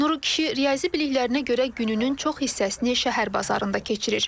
Nuru kişi riyazi biliklərinə görə gününün çox hissəsini şəhər bazarında keçirir.